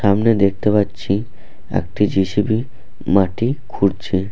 সামনে দেখতে পাচ্ছি একটি জি.সি.বি. মাটি খুঁড়ছে।